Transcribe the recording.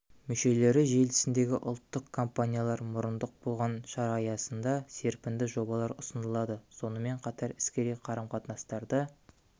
мүшелері желісіндегі ұлттық компаниялар мұрындық болған шара аясында серпінді жобалар ұсынылады сонымен қатар іскери қарым-қатынастарды